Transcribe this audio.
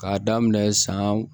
K'a daminɛ san